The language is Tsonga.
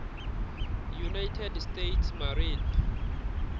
united states marine